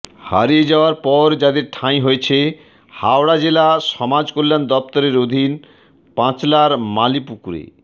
হারিয়ে যাওয়ার পর যাদের ঠাঁই হয়েছে হাওড়া জেলা সমাজ কল্যাণ দফতরের অধীন পাঁচলার মালিপুকুর